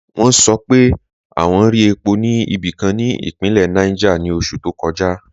Wọn sọ̀ pé wọn rí è̩pó ni ibikan ni ipinlẹ̀ Niger ni oṣù to kọja.